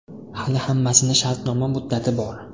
Hali hammasini shartnoma muddati bor.